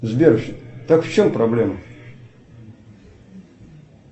сбер так в чем проблема